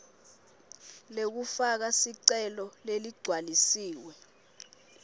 lekufaka sicelo leligcwalisiwe